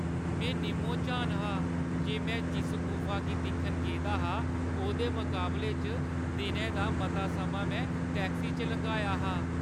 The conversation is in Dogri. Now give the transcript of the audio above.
में निम्मो-झान हा जे मैं जिस गुफा गी दिक्खन गेदा हा, ओह्दे मकाबले च दिनै दा मता समां में टैक्सी च लंघाया हा।